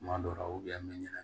Kuma dɔw la bɛ ɲɛna